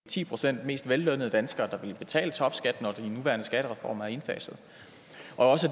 ti procent mest vellønnede danskere der vil betale topskat når den nuværende skattereform er indfaset og